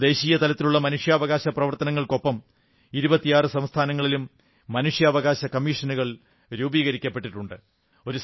ഇന്ന് ദേശീയ തലത്തിലുള്ള മനുഷ്യാവകാശ പ്രവർത്തനങ്ങൾക്കൊപ്പം 26 സംസ്ഥാനങ്ങളിലും മനുഷ്യാവകാശ കമ്മീഷനുകൾ രൂപീകരിക്കപ്പെട്ടിട്ടുണ്ട്